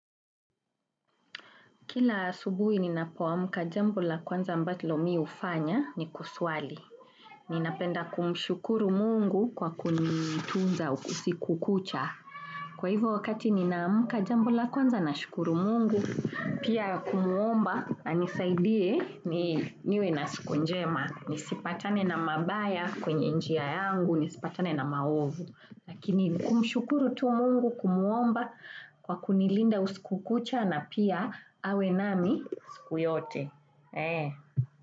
Kila asubuhi ninapo aamka jambo la kwanza ambalo mimi hufanya ni kuswali. Ninapenda kumshukuru Mungu kwa kunitunza usiku kucha. Kwa hivyo wakati ninaamka jambo la kwanza nashukuru mungu, pia kumwomba anisaidie niwe na siku njema. Nisipatane na mabaya kwenye njia yangu, nisipatane na maovu. Lakini kumshukuru tu mungu kumwomba kwa kunilinda usiku kucha na pia awe na mimi siku yote.